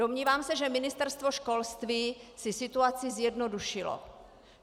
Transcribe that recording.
Domnívám se, že Ministerstvo školství si situaci zjednodušilo.